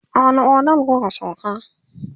a wani otel kuka sauka?